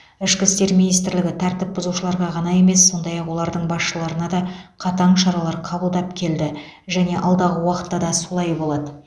ішкі істер министрлігі тәртіп бұзушыларға ғана емес сондай ақ олардың басшыларына да қатаң шаралар қабылдап келді және алдағы уақытта да солай болады